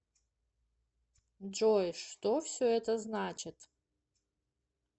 джой что все это значит